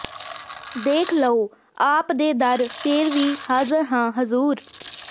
ਦੇਖ ਲਉ ਆਪ ਦੇ ਦਰ ਫੇਰ ਵੀ ਹਾਜ਼ਰ ਹਾਂ ਹਜ਼ੂਰ